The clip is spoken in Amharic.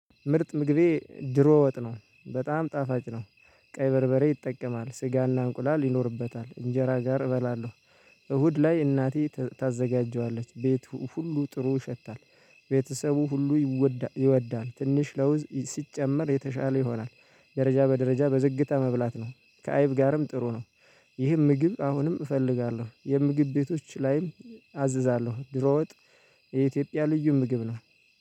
ምርጥ ምግቤ ደሮ ወጥ ነው በጣም ጣፋጭ ነው። ቀይ በርበሬ ይጠቀማል ስጋና እንቁላል ይኖርበታል እንጀራ ጋር እበላለሁ። እሁድ ላይ እናቴ ታዘጋጀዋለች ቤቱ ሁሉ ጥሩ ይሸታል። ቤተሰቡ ሁሉ ይወዳል። ትንሽ ለውዝ ሲጨመር የተሻለ ይሆናል። ደረጃ በደረጃ በዝግታ መብላት ነው ከአይብ ጋርም ጥሩ ነው። ይህ ምግብ አሁንም እፈልጋለሁ ምግብ ቤቶች ላይም አዝዛለሁ። ደሮ ወጥ የኢትዮጵያ ልዩ ምግብ ነው